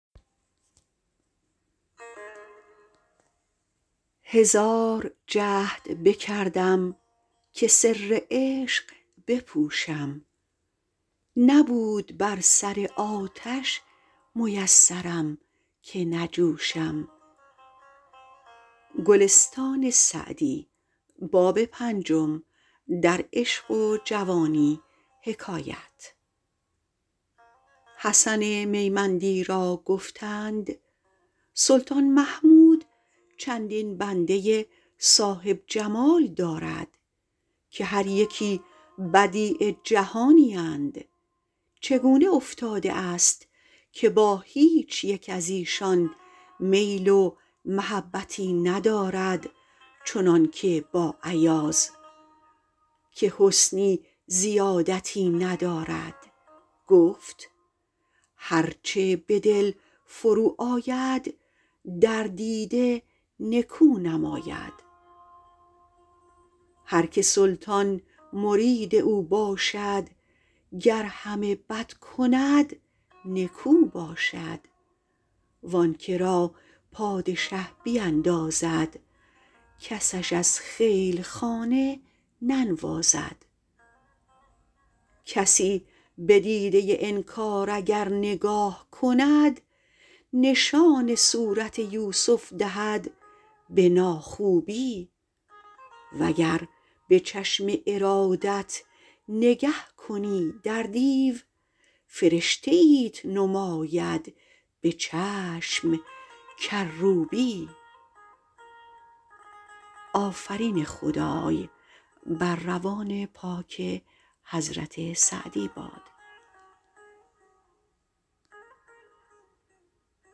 حسن میمندی را گفتند سلطان محمود چندین بنده صاحب جمال دارد که هر یکی بدیع جهانی اند چگونه افتاده است که با هیچ یک از ایشان میل و محبتی ندارد چنان که با ایاز که حسنی زیادتی ندارد گفت هر چه به دل فرو آید در دیده نکو نماید هر که سلطان مرید او باشد گر همه بد کند نکو باشد و آن که را پادشه بیندازد کسش از خیل خانه ننوازد کسی به دیده انکار اگر نگاه کند نشان صورت یوسف دهد به ناخوبی و گر به چشم ارادت نگه کنی در دیو فرشته ایت نماید به چشم کروبی